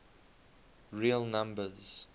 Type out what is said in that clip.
real numbers